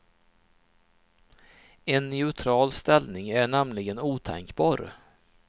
En neutral ställning är nämligen otänkbar.